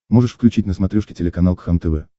можешь включить на смотрешке телеканал кхлм тв